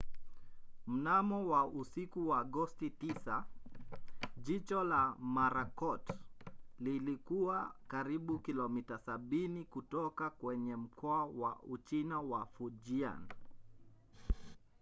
mnamo usiku wa agosti 9 jicho la marakot lilikuwa karibu kilomita sabini kutoka kwenye mkoa wa uchina wa fujian